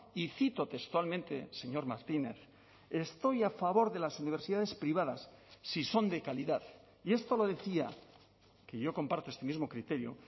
y cito textualmente señor martínez estoy a favor de las universidades privadas si son de calidad y esto lo decía que yo comparto este mismo criterio